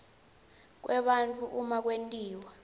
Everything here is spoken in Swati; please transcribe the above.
kwebantfu uma kwentiwa